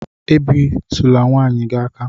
E bi tula nwaanyị gi aka!